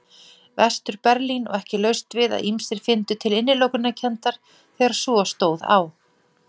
Vestur-Berlín og ekki laust við að ýmsir fyndu til innilokunarkenndar þegar svo stóð á.